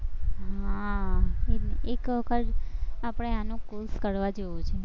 હા એ એક વખત આપણે આનો course કરવા જેવું છે.